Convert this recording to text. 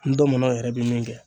N ndɔmɔnɔ yɛrɛ bi min kɛ.